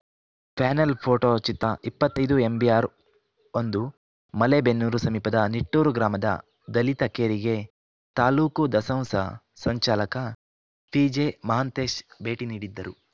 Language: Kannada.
ಪ್ಯಾನೆಲ್‌ ಫೋಟೋ ಚಿತ್ರಇಪ್ಪತೈದು ಎಂಬಿಆರ್‌ ಒಂದು ಮಲೇಬೆನ್ನೂರು ಸಮೀಪದ ನಿಟ್ಟೂರು ಗ್ರಾಮದ ದಲಿತ ಕೇರಿಗೆ ತಾಲೂಕು ದಸಂಸ ಸಂಚಾಲಕ ಪಿಜೆ ಮಹಂತೇಶ್‌ ಭೇಟಿ ನೀಡಿದ್ದರು